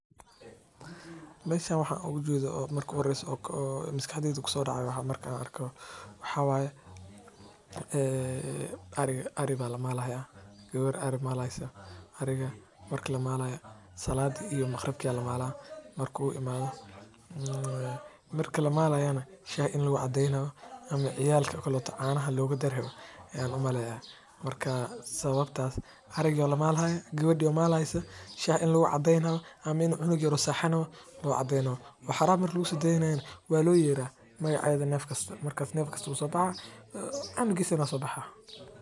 Meeshan waxaan ooga jeedo oo marki horeyso maskaxdeyda kusoo daceysa maxaa waye ari ayaa lamaalo haaya gabada maali haysa shaha lagu cadeen rabo ama cunug yar oo hurdi rabo loo cadeen rabo marki lamaalayo waa loo yeera.